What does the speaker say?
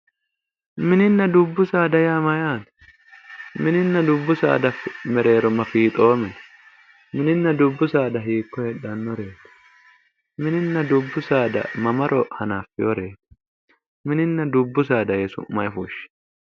Mininna dubbu saada yaa mayyaate? Mininna dubbu saada saada mereero ma fiixoomi no? Mininna dubbu saada hiikko heedhannoreeti? Mininna dubbu saada mamaro hanaffewooreeti? Mininna dubbu saada yee su'ma ayi fushshi.